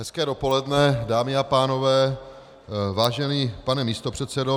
Hezké dopoledne, dámy a pánové, vážený pane místopředsedo.